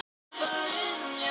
Í OK!